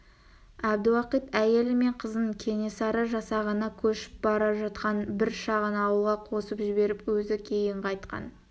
әбдіуақит әйелі мен қызын кенесары жасағына көшіп бара жатқан бір шағын ауылға қосып жіберіп өзі кейін қайтқан